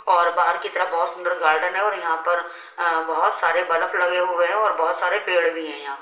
और बाहर की तरफ बहुत सुंदर गार्डन है और यहां पर अ बहुत सारे बल्फ लगे हुए हैं और बहुत सारे पेड़ भी हैंयहाँ--